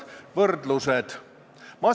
Lugupeetud kolleeg!